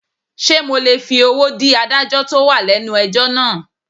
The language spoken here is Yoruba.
Sé mo lè fi owó dí adájọ́ tó wà lẹ́nu ẹjọ́ náà.